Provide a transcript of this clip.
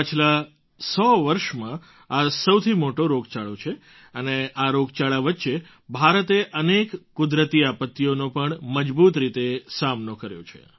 ગત સો વર્ષમાં આ સૌથી મોટો રોગચાળો છે અને આ રોગચાળા વચ્ચે ભારતે અનેક કુદરતી આપત્તિઓનો પણ મજબૂત રીતે સામનો કર્યો છે